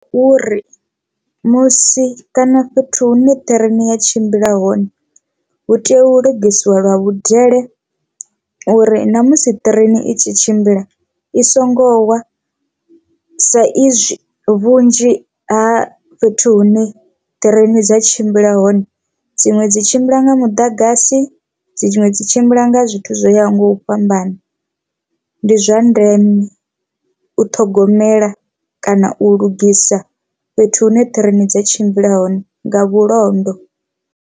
Uri musi kana fhethu hune ṱhireni ya tshimbila hone hu tea u lugisiwa lwa vhudele uri ṋamusi ṱireni i tshi tshimbila i songo wa, sa izwi vhunzhi ha fhethu hune train dza tshimbila hone dziṅwe dzi tshimbila nga muḓagasi dziṅwe dzi tshimbila nga zwithu zwo ya hone nga u fhambana. Ndi zwa ndeme u ṱhogomela kana u lugisa fhethu hune ṱhireni dza tshimbila hone nga vhulondo.